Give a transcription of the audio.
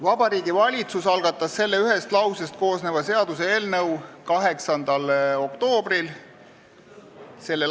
Vabariigi Valitsus algatas selle ühest lausest koosneva seaduseelnõu 8. oktoobril s.